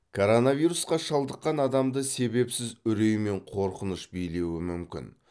коронавирусқа шалдыққан адамды себепсіз үрей мен қорқыныш билеуі мүмкін